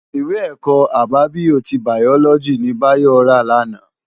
Iwé èkò ábábiyó ti báyólòji ni Bayo rá làná